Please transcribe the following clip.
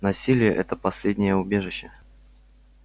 насилие это последнее убежище